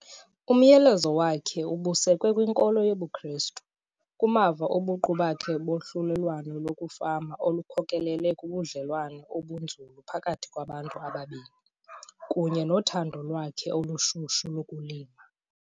Umyalezo wakhe ubusekwe kwiNkolo yobuKrestu, kumava obuqu bakhe bolwahlulelwano lokufama olukhokelele kubudlelwane obunzulu phakathi kwabantu ababini, kunye nothando lwakhe olushushu lokulima.